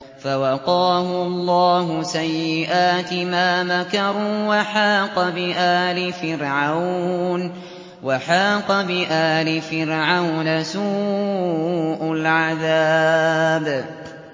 فَوَقَاهُ اللَّهُ سَيِّئَاتِ مَا مَكَرُوا ۖ وَحَاقَ بِآلِ فِرْعَوْنَ سُوءُ الْعَذَابِ